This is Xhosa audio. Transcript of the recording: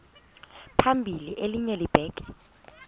phambili elinye libheke